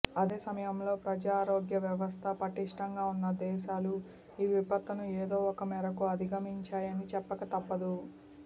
అదే సమయంలో ప్రజారోగ్య వ్యవస్థ పటిష్ఠంగా ఉన్న దేశాలు ఈ విపత్తును ఏదోఒక మేరకు అధిగమించాయని చెప్పక తప్పదు